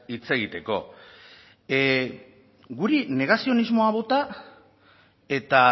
hitz egiteko guri negazionismoa bota eta